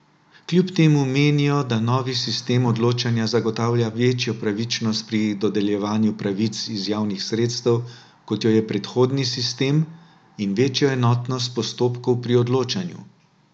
Kljub temu menijo, da novi sistem odločanja zagotavlja večjo pravičnost pri dodeljevanju pravic iz javnih sredstev, kot jo je predhodni sistem, in večjo enotnost postopkov pri odločanju.